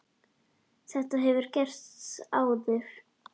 Þetta hefur gerst áður.